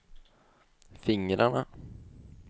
fingrarna